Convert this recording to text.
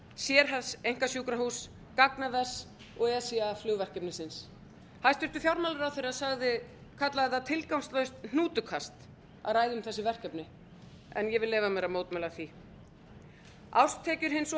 kísilvers sérhæfðs einkasjúkrahúss gagnavers og eca flugverkefnisins hæstvirtur fjármálaráðherra kallaði það tilgangslaust hnútukast að ræða um þessi verkefni en ég vil leyfa mér að mótmæla því árstekjur hins